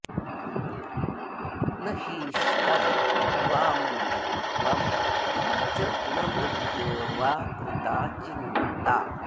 न हीष्टं वामृतत्वं च न मृत्योर्वा कृता चिन्ता